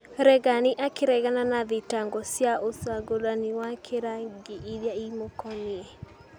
Regani akĩregana na thitango cia ũcagũrani wa kĩrangi iria imũkoniĩ.